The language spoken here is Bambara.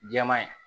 Jɛman ye